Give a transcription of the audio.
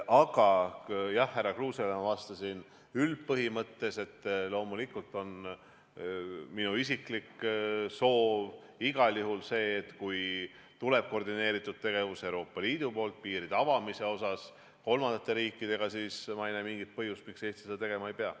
Aga jah, härra Kruusele ma vastasin üldpõhimõttes, et loomulikult on minu isiklik soov igal juhul see, et kui tuleb koordineeritud tegevus Euroopa Liidu poolt kolmandate riikidega piiride avamise asjus, siis ma ei näe mingit põhjust, miks Eesti seda tegema ei peaks.